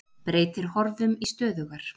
Breytir horfum í stöðugar